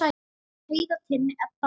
Heiða, Tinna, Edda og Jana.